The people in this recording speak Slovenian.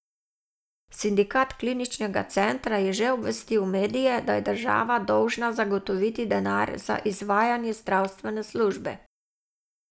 Sindikat kliničnega centra je že obvestil medije, da je država dolžna zagotoviti denar za izvajanje zdravstvene službe.